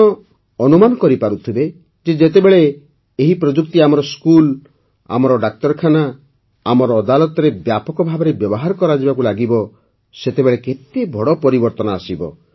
ଆପଣ ଅନୁମାନ କରିପାରୁଥିବେ ଯେ ଯେତେବେଳେ ଏହି ପ୍ରଯୁକ୍ତି ଆମର ସ୍କୁଲ୍ ଆମର ଡାକ୍ତରଖାନା ଆମର ଅଦାଲତରେ ବ୍ୟାପକ ଭାବେ ବ୍ୟବହାର କରାଯିବାକୁ ଲାଗିବ ସେତେବେଳେ କେତେ ବଡ଼ ପରିବର୍ତ୍ତନ ଆସିବ